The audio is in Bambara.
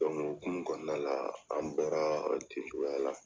o hokumu kɔnɔna la, an bɔra ten cogoya la.